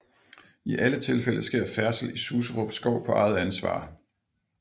I alle tilfælde sker færdsel i Suserup Skov på eget ansvar